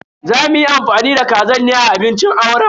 Za muyi amfani da kazar ne a abincin auren.